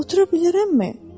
Otura bilərəmmi?